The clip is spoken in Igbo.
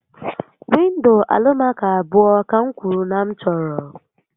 Windo Alụmaco abụọ ka m kwuru na m chọrọ